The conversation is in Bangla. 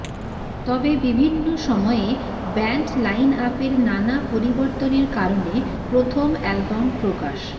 তবে বিভিন্ন সময়ে ব্যান্ড লাইনআপের নানা পরিবর্তনের কারণে প্রথম অ্যালবাম প্রকাশ